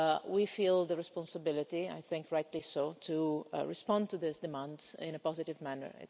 We feel the responsibility I think rightly so to respond to this demand in a positive manner.